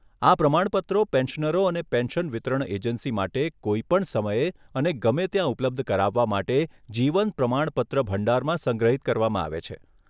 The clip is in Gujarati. આ પ્રમાણપત્રો પેન્શનરો અને પેન્શન વિતરણ એજન્સી માટે કોઈપણ સમયે અને ગમે ત્યાં ઉપલબ્ધ કરાવવા માટે જીવન પ્રમાણપત્ર ભંડારમાં સંગ્રહિત કરવામાં આવે છે.